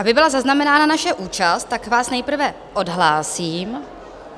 Aby byla zaznamenána naše účast, tak vás nejprve odhlásím.